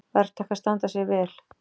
Verktakar standa sig vel